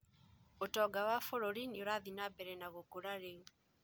ũtonga wa bũrũri nĩurathiĩ na mbere na gũkũra rĩu